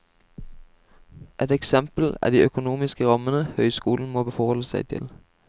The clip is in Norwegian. Ett eksempel er de økonomiske rammene høyskolene må forholde seg til.